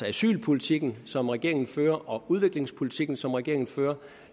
asylpolitikken som regeringen fører og udviklingspolitikken som regeringen fører